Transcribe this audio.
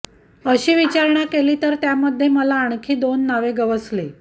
अशी विचारणा केली तर त्यामध्ये मला आणखी दोन नावे गवसली